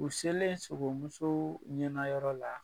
U selen sogomusoo ɲɛnayɔrɔ la